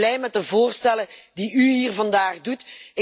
Dus ik ben blij met de voorstellen die u hier vandaag doet.